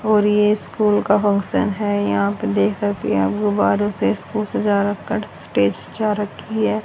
और ये स्कूल का फंक्शन है यहां पे देख सकते हैं गुब्बारों से स्कूल सजा रखा है स्टेज सजा रखी है।